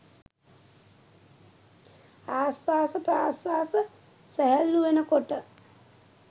ආශ්වාස ප්‍රශ්වාස සැහැල්ලු වෙන කොට